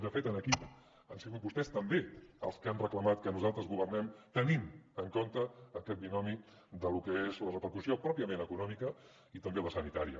de fet aquí han sigut vostès també els que han reclamat que nosaltres governem tenint en compte aquest binomi de lo que és la repercussió pròpiament econòmica i també la sanitària